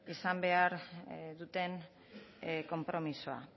izan behar duten konpromisoa